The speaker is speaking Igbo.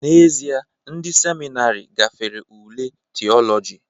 N'ezie, ndị seminarị gafere ule Theology